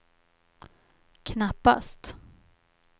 knappast